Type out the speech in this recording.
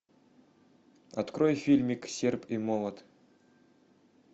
открой фильмик серп и молот